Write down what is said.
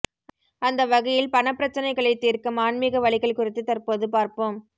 அந்த வகையில் பணப்பிரச்சனைகளை தீர்க்கும் ஆன்மீக வழிகள் குறித்து தற்போது பார்ப்போம்